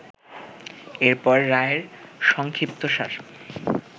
এরপর রায়ের সংক্ষিপ্তসার